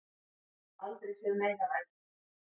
Aldrei séð meira af eggjum